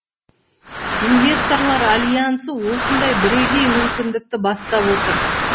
инвесторлар альянсы осындай бірегей мүмкіндікті бастап отыр